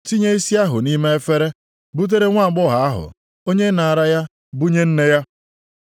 tinye isi ahụ nʼime efere butere nwaagbọghọ ahụ onye nara ya bunye nne ya.